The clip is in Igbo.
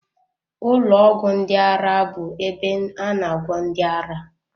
Ụlọ ọgwụ ndị ara bụ ebe a na agwọ ndị ara